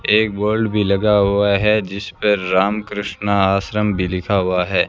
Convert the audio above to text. एक बोर्ड भी लगा हुआ है जिस पर राम कृष्ण आश्रम भी लिखा हुआ है।